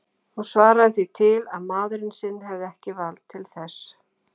Hún svaraði því til að maðurinn sinn hefði ekki vald til þess.